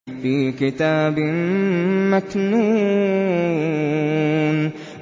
فِي كِتَابٍ مَّكْنُونٍ